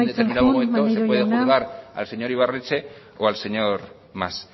en determinados momentos se puede juzgar al señor ibarretxe o al señor mas